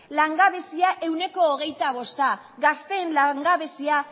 langabezia ehuneko hogeita bosta gazteen langabezia